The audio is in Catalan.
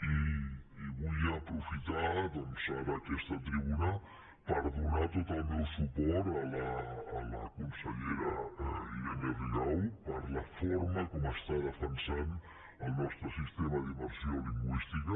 i vull aprofitar ara aquesta tribuna per donar tot el meu suport a la consellera irene rigau per la forma com està defensant el nostre sistema d’immersió lingüística